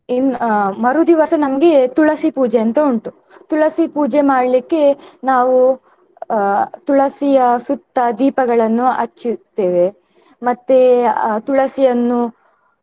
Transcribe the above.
ಇನ್~ ಅಹ್ ಮರುದಿವಸ ನಮ್ಗೆ ತುಳಸಿ ಪೂಜೆ ಅಂತ ಉಂಟು ತುಳಸಿ ಪೂಜೆ ಮಾಡ್ಲಿಕೆ ನಾವು ಅಹ್ ತುಳಸಿಯ ಸುತ್ತ ದೀಪಗಳನ್ನು ಹಚ್ಚಿರುತ್ತೇವೆ ಮತ್ತೆ ಅಹ್ ತುಳಸಿಯನ್ನು.